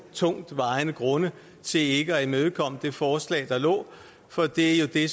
tungtvejende grunde til ikke at imødekomme det forslag der lå for det er jo det